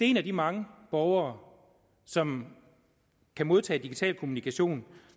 en af de mange borgere som kan modtage digital kommunikation